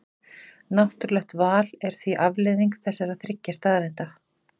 Náttúrlegt val er því afleiðing þessara þriggja staðreynda.